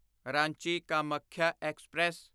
Ranchi Kamakhya express